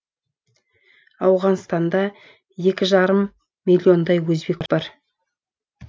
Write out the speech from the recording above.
ауғанстанда екі жарым миллиондай өзбек бар